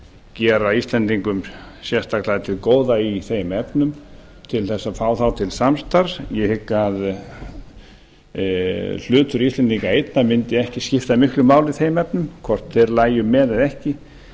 gera íslendingum sérstaklega til góða í þeim efnum til að fá þá til samstarfs ég hygg að hlutur íslendinga einna mundi ekki skipta miklu máli í þeim efnum hvort þeir lægju með eða ekki